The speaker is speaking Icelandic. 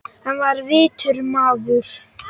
Hann var vitur maður.